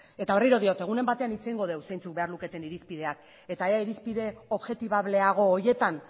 eta berriro diot egunen batean hitz egingo dugu zeintzuk behar luketen irizpideak eta ea irizpide objektibableago horietan